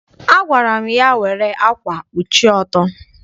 Agwara m ya, were ákwà kpuchie ọtọ!